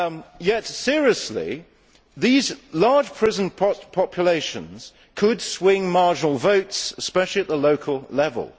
Yet, seriously, these large prison populations could swing marginal votes, especially at the local level.